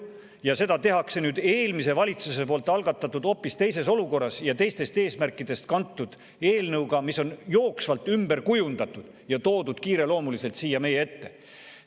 Ning seda tehakse nüüd eelmise valitsuse poolt hoopis teises olukorras algatatud ja teistest eesmärkidest kantud eelnõuga, mis on jooksvalt ümber kujundatud ja toodud kiireloomuliselt siia meie ette.